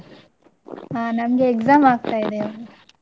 ಹಾ ನಮ್ಗೆ exam ಆಗ್ತಾ ಇದೆ.